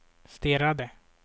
stirrade